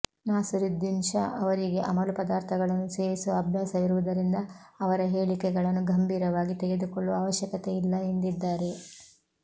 ನಾಸಿರುದ್ದೀನ್ ಶಾ ಅವರಿಗೆ ಅಮಲು ಪದಾರ್ಥಗಳನ್ನು ಸೇವಿಸುವ ಅಭ್ಯಾಸವಿರುವುದರಿಂದ ಅವರ ಹೇಳಿಕೆಗಳನ್ನು ಗಂಭೀರವಾಗಿ ತೆಗೆದುಕೊಳ್ಳುವ ಅವಶ್ಯಕತೆಯಿಲ್ಲ ಎಂದಿದ್ದಾರೆ